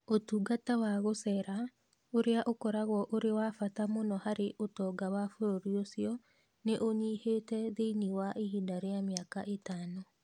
Ũtungata wa gũceera, ũrĩa ũkoragwo ũrĩ wa bata mũno harĩ ũtonga wa bũrũri ũcio, nĩ ũnyihĩte thĩinie wa ihinda rĩa mĩaka ĩtano.